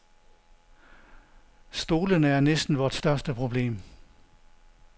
Stolene er næsten vort største problem.